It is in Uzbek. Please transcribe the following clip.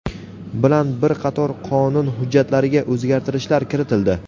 bilan bir qator qonun hujjatlariga o‘zgartishlar kiritildi.